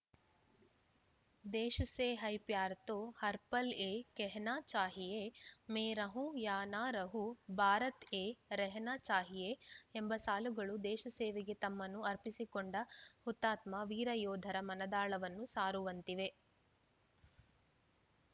ದೇಶ್‌ ಸೇ ಹೈ ಪ್ಯಾರ್‌ ತೋ ಹರ್‌ ಪಲ್‌ ಯೇ ಕೆಹನಾ ಚಾಹಿಯೇ ಮೇ ರಹೂಂ ಯಾ ನಾ ರಹೂಂ ಭಾರತ್‌ ಯೇ ರೆಹನಾ ಚಾಹಿಯೇ ಎಂಬ ಸಾಲುಗಳು ದೇಶಸೇವೆಗೆ ತಮ್ಮನ್ನು ಅರ್ಪಿಸಿಕೊಂಡ ಹುತಾತ್ಮ ವೀರಯೋಧರ ಮನದಾಳವನ್ನು ಸಾರುವಂತಿವೆ